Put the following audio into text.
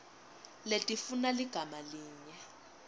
letifuna ligama linye